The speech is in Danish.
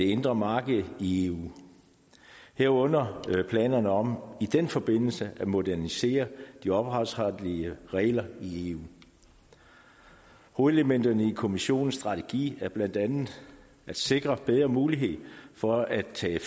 det indre marked i eu herunder planerne om i den forbindelse at modernisere de ophavsretlige regler i eu hovedelementerne i kommissionens strategi er blandt andet at sikre bedre mulighed for at tage